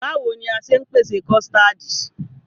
Báwoni a ṣe ń pèsè kọ̀stáádì?